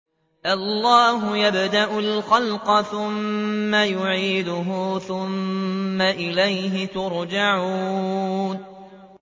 اللَّهُ يَبْدَأُ الْخَلْقَ ثُمَّ يُعِيدُهُ ثُمَّ إِلَيْهِ تُرْجَعُونَ